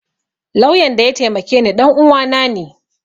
Lauyan da ya taimake ni ɗanuwa na ne